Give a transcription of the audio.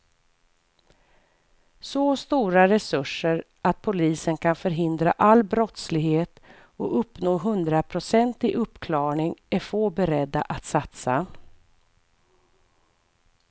Så stora resurser att polisen kan förhindra all brottslighet och uppnå hundraprocentig uppklarning är få beredda att satsa.